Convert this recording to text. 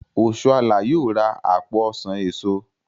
Oshola yóò rà apo ọsán èso.